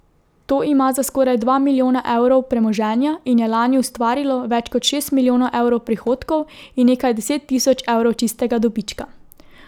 To ima za skoraj dva milijona evrov premoženja in je lani ustvarilo več kot šest milijonov evrov prihodkov in nekaj deset tisoč evrov čistega dobička.